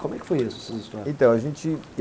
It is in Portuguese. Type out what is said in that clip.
Como é que foi isso, essas histórias? Então, a gente...